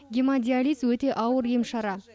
гемодиализ өте ауыр ем шара